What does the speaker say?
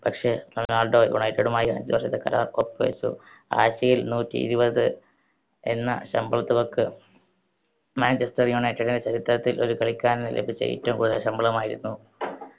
പക്ഷേ, Ronaldo united മായി അഞ്ച് വർഷത്തെ കരാർ ഒപ്പു വെച്ചു ആഴ്ചയിൽ നൂറ്റിയിരുപത് എന്ന ശമ്പള തുകക്ക്. മാഞ്ചെസ്റ്റർ യുണൈറ്റഡിന്റെ ചരിത്രത്തിൽ ഒരു കളിക്കാരന് ലഭിച്ച ഏറ്റവും കൂടുതൽ ശമ്പളമായിരുന്നു